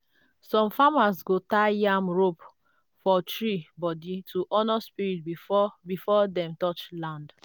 some farmers go tie yam rope for tree body to honour spirit before before dem touch land.